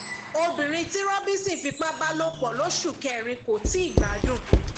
obìnrin tí robbinson fipá bá lò pọ lóṣù kẹrin kò tí ì gbádùn